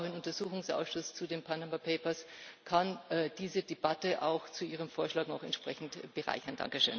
Und ich glaube auch, ein Untersuchungsausschuss zu den Panama Papers kann diese Debatte auch zu Ihrem Vorschlag noch entsprechend bereichern.